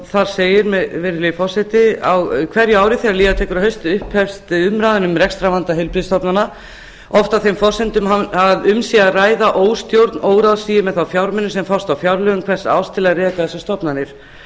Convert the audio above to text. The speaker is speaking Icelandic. þar segir virðulegi forseti á hverju ári þegar líða tekur að hausti hefst umræðan um rekstrarvanda heilbrigðisstofnana oft á þeim forsendum að um sé að ræða óstjórn óráðsíu með þá fjármuni sem fást á fjárlögum hvers árs til að reka þessar stofnanir